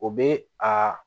O be a